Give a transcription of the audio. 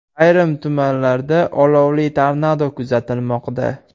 Ayrim tumanlarda olovli tornado kuzatilmoqda .